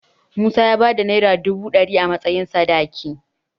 Musa y bayar da Naira dubu ɗari a matsayin sadaki.